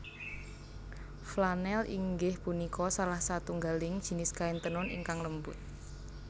Flanèl inggih punika salah satunggaling jinis kain tenun ingkang lembut